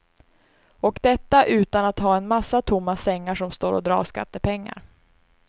Och detta utan att ha en massa tomma sängar som står och drar skattepengar.